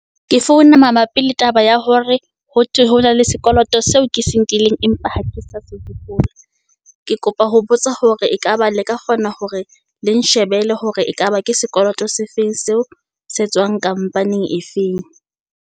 Ke founa mabapi le taba ya hore ho thwe ho na le sekoloto seo ke se nkileng empa ha ke sa se hopola. Ke kopa ho botsa hore ekaba le ka kgona hore le nshebele hore ekaba ke sekoloto se feng seo se tswang company-ing efeng.